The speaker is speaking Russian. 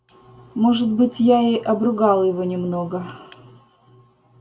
может быть я и обругал его немного